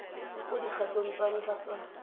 mo dikgatong tsa ntlha tsa